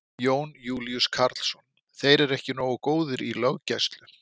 Jón Júlíus Karlsson: Þeir eru ekki nógu góðir í löggæslu?